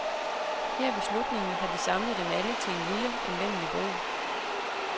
Her ved slutningen har de samlet dem alle til en lille, anvendelig bog.